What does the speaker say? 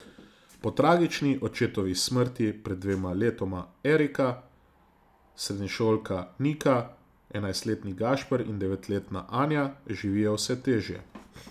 Po tragični očetovi smrti pred dvema letoma Erika, srednješolka Nika, enajstletni Gašper in devetletna Anja živijo vse težje.